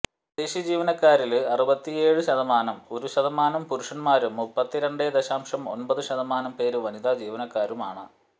സ്വദേശി ജീവനക്കാരില് അറുപത്തിയേഴേ ദശാംശം ഒരു ശതമാനം പുരുഷന്മാരും മുപ്പത്തി രണ്ടേ ദശാംശം ഒന്പത് ശതമാനം പേര് വനിത ജീവനക്കാരുമാണ്